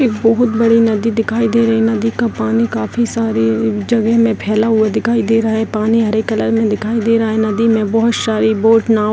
एक बहुत बड़ी नदी दिखाई दे रही है नदी का पानी काफी सारे जगहे में फैला हुआ दिखाई दे रहा है पानी हरे कलर में दिखाई दे रहा है नदी में बहुत सारी बोट नाव --